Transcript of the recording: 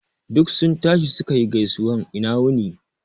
Duk sun tashi suka yi gaisuwan ina wuni